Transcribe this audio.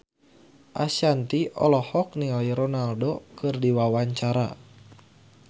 Ashanti olohok ningali Ronaldo keur diwawancara